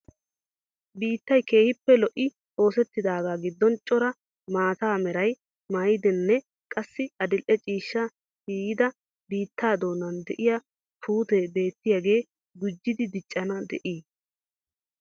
Biittay keehippe lo'ii oosettidagaa giddon cora maata meraa maayiddane qassi adil'e ciishshaa ciiyida biita doonan de'iyaa puutte beetiyge gujidi diccana de'i?